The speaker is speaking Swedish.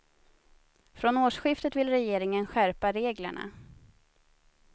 Från årsskiftet vill regeringen skärpa reglerna.